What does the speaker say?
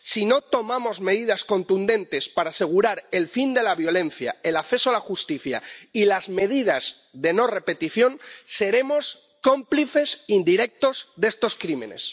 Si no tomamos medidas contundentes para asegurar el fin de la violencia, el acceso a la justicia y las medidas de no repetición, seremos cómplices indirectos de estos crímenes.